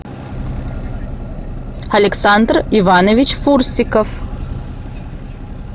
александр иванович фурсиков